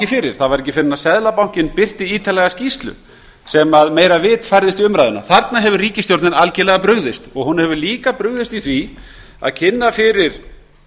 fyrir það var ekki fyrr en seðlabankinn birti ítarlega skýrslu sem meira vit færðist í umræðuna þarna hefur ríkisstjórnin algjörlega brugðist hún hefur líka brugðist í því að kynna fyrir